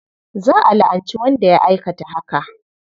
Za a la'anci wanda ya aikata haka.